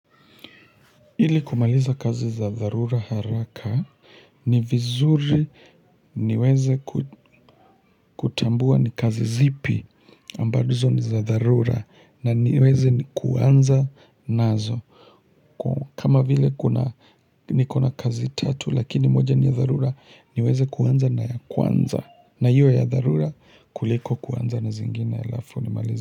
Ili kumaliza kazi za dharura haraka ni vizuri niweze kutambua ni kazi zipi ambazo ni za dharura na niweze nikuanza nazo kama vile niko na kazi tatu lakini moja ni ya dharura niweze kuanza na ya kwanza na iwe ya dharura kuliko kuanza na zingine alafu ni malize.